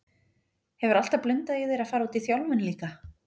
Hefur alltaf blundað í þér að fara út í þjálfun líka?